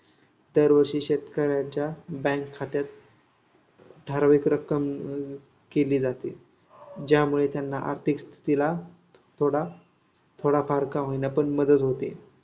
दरवर्षी शेतकऱ्याच्या बँक खात्यात ठराविक रक्कम केली जाते. ज्यामुळे त्यांना आर्थिक स्थितीला थोडाथोडाफार का होईना, पण मदत होते.